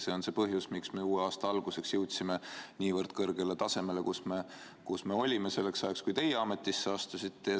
See on põhjus, miks me uue aasta alguseks jõudsime nii kõrgele tasemele, kus me olime selleks ajaks, kui teie ametisse astusite.